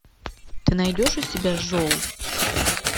ты найдешь у себя жол